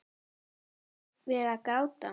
Þú hefur verið að gráta!